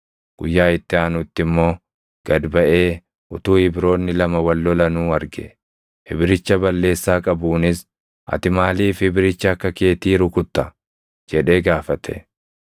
Guyyaa itti aanutti immoo gad baʼee utuu Ibroonni lama wal lolanuu arge. Ibricha balleessaa qabuunis, “Ati maaliif Ibricha akka keetii rukutta?” jedhee gaafate.